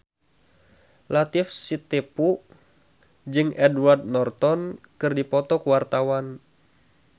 Latief Sitepu jeung Edward Norton keur dipoto ku wartawan